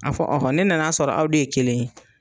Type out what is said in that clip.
A fɔ ne nana sɔrɔ aw de ye kelen ye.